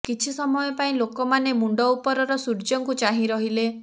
କିଛି ସମୟ ପାଇଁ ଲୋକମାନେ ମୁଣ୍ଡ ଉପରର ସୂର୍ଯ୍ୟଙ୍କୁ ଚାହିଁ ରହିଲେ